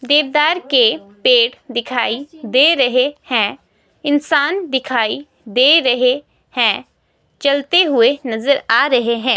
देवदार के पेड़ दिखाई दे रहे हैं इंसान दिखाई दे रहे हैं चलते हुए नजर आ रहे हैं।